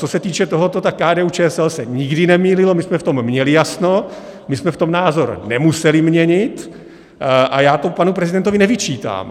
Co se týče tohoto, tak KDU-ČSL se nikdy nemýlilo, my jsme v tom měli jasno, my jsme v tom názor nemuseli měnit a já to panu prezidentovi nevyčítám.